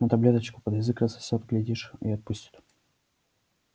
но таблеточку под язык рассосёт глядишь и отпустит